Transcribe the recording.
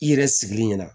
I yɛrɛ sigili ɲɛna